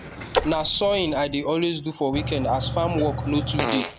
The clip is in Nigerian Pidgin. na sawing i de always do for weekend as farm work no too dey